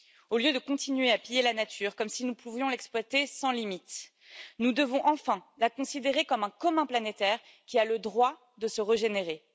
Au lieu de continuer à piller la nature comme si nous pouvions l'exploiter sans limite, nous devons enfin la considérer comme un commun planétaire qui a le droit de se régénérer.